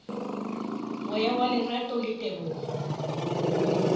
moya wa lerato le tebogo